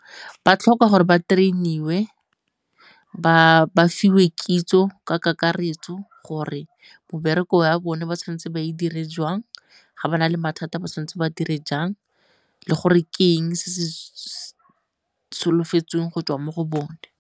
Ba tlhoka gore ba train-iwe, ba fiwe kitso ka kakaretso gore ya bone ba tshwanetse ba e dire jwang, ga ba na le mathata ba tshwanetse ba dire jang le gore ke eng se se solofetsweng go tswa mo go bone.